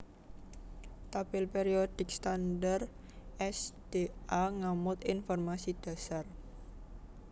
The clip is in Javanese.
Tabèl périodik standar s d a ngamot informasi dhasar